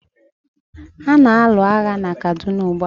a na-alụ agha na Kaduna ugbua.